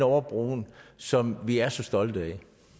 over broen som vi er så stolte af